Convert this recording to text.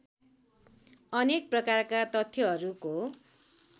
अनेक प्रकारका तथ्यहरूको